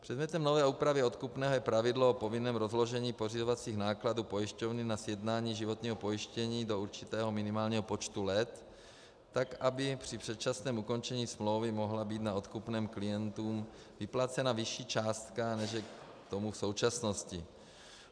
Předmětem nové úpravy odkupného je pravidlo o povinném rozložení pořizovacích nákladů pojišťovny na sjednání životního pojištění do určitého minimálního počtu let tak, aby při předčasném ukončení smlouvy mohla být na odkupném klientům vyplacena vyšší částka, než je tomu v současnosti.